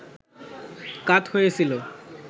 কাত হয়ে ছিল